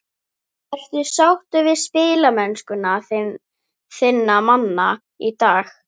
Ertu sáttur við spilamennsku þinna manna í dag?